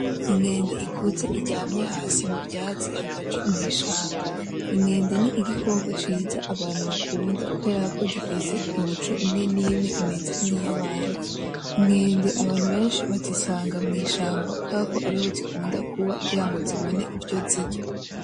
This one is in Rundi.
Inkende ikuze iryamye hasi muvyatsi hagati mwishamba, inkende n'igikoko ciza abantu bakunda kubera ko gifise imico imwe n'imwe imeze nkiya bantu, inkende abantu beshi bazisanga mwishamba kuberako ariho zikunda kuba kugirango zibone ivyo zirya